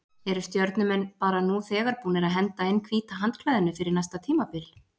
Eru Stjörnumenn bara nú þegar búnir að henda inn hvíta handklæðinu fyrir næsta tímabil?